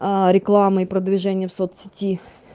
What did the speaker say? а реклама и продвижение в соц сети